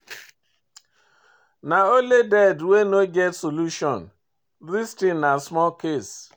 Na only dead wey no get solution, this thing na small case.